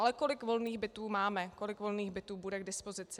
Ale kolik volných bytů máme, kolik volných bytů bude k dispozici?